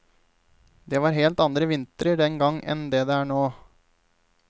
Det var helt andre vintrer den gang enn det er nå.